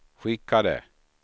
skickade